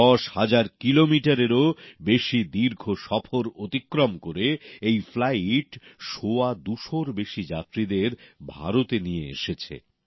দশ হাজার কিলোমিটারেরও বেশি দীর্ঘ সফর অতিক্রম করে এই ফ্লাইট সোয়া দুশোর বেশি যাত্রীদের ভারতে নিয়ে এসেছে